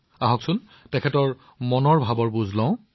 আহক তেওঁলোকৰ অভিজ্ঞতাৰ বিষয়ে জানো